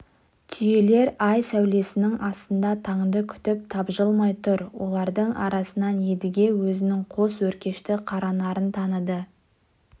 түйелер ай сәулесінің астында таңды күтіп тапжылмай тұр олардың арасынан едіге өзінің қос өркешті қаранарын таныды